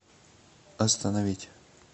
остановить